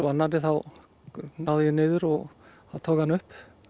annarri þá náði ég niður og tók hann upp